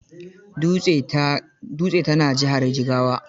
Dutse ta na jihar Jigawa.